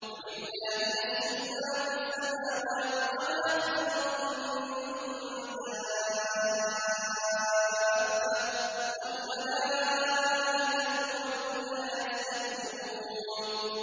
وَلِلَّهِ يَسْجُدُ مَا فِي السَّمَاوَاتِ وَمَا فِي الْأَرْضِ مِن دَابَّةٍ وَالْمَلَائِكَةُ وَهُمْ لَا يَسْتَكْبِرُونَ